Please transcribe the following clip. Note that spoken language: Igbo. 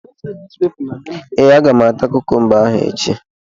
Ee, Aga m ata kukumba ahụ echi